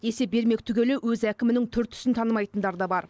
есеп бермек түгілі өз әкімінің түр түсін танымайтындар да бар